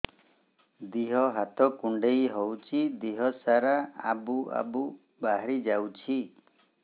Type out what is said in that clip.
ଦିହ ହାତ କୁଣ୍ଡେଇ ହଉଛି ଦିହ ସାରା ଆବୁ ଆବୁ ବାହାରି ଯାଉଛି